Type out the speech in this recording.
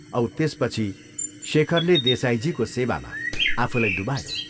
औ त्यसपछि शेखरले देसाईजीको सेवामा आफूलाई डुबायो।